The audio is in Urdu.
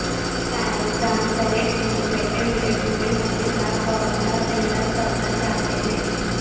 سائنسدان صحت مند رہتے ہوئے بوڑھے ہونے کا فارمولا تیار کرنا چاہتے ہیں